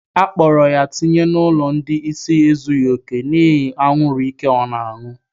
Akpọrọ ya tinye n'ụlọ ndị ịsị ezughi oke n'ihi anwuru ike ọ ñụrụ